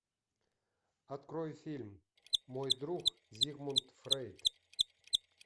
открой фильм мой друг зигмунд фрейд